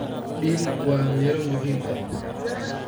Dill waa miro muhiim ah.